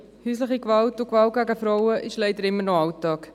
Häusliche Gewalt und Gewalt gegen Frauen ist leider immer noch Alltag.